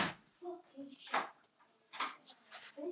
Hvíl í friði, kæra mamma.